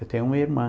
Eu tenho uma irmã.